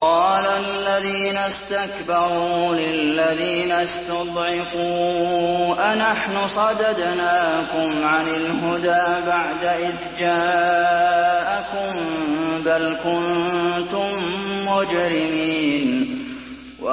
قَالَ الَّذِينَ اسْتَكْبَرُوا لِلَّذِينَ اسْتُضْعِفُوا أَنَحْنُ صَدَدْنَاكُمْ عَنِ الْهُدَىٰ بَعْدَ إِذْ جَاءَكُم ۖ بَلْ كُنتُم مُّجْرِمِينَ